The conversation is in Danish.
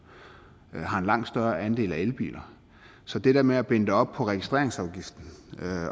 har en langt større andel af elbiler så det der med at binde det op på registreringsafgiften